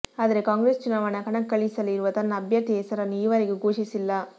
ಆದರೆ ಕಾಂಗ್ರೆಸ್ ಚುನಾವಣಾ ಕಣಕ್ಕಿಳಿಸಲಿರುವ ತನ್ನ ಅಭ್ಯರ್ಥಿಯ ಹೆಸರನ್ನು ಈವರೆಗೂ ಘೋಷಿಸಿಲ್ಲ